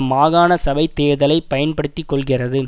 மாகாண சபை தேர்தலை பயன்படுத்தி கொள்கிறது